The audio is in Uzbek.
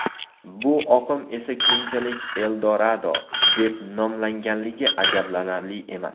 Bu oqim esa keyinchalik Eldorado deb nomlanganligi ajablanarli emas.